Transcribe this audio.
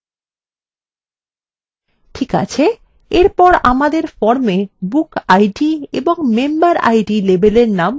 ঠিক আছে এরপর আমাদের form bookid এবং memberid labelsএর নাম পরিবর্তন করা যাক